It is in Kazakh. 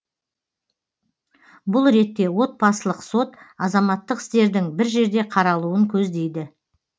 бұл ретте отбасылық сот азаматтық істердің бір жерде қаралуын көздейді